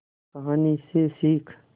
कहानी से सीख